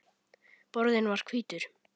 Borðinn var hvítur.